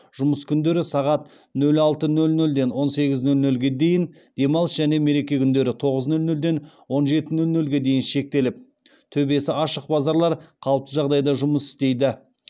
жұмыс күндері сағат нөл алты нөл нөлден он сегіз нөл нөлге дейін демалыс және мереке күндері нөл тоғыз нөл нөлден он жеті нөл нөлге дейін шектеліп төбесі ашық базарлар қалыпты жағдайда жұмыс істейді